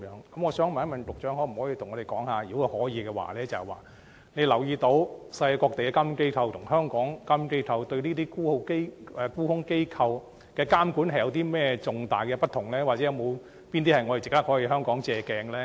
局長可否告訴我們，有否留意世界各地的監管機構對這些沽空機構的監管，與香港監管機構有甚麼重大的不同之處，以及有哪些地方值得香港借鏡？